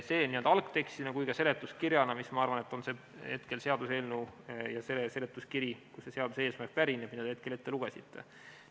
See oli siin algtekstina ja ka seletuskirjana, mis, ma arvan, ongi see seletuskiri, kust pärineb see seaduse eesmärk, mille te ette lugesite.